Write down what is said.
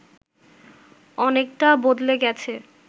অনেকটা বদলে গেছে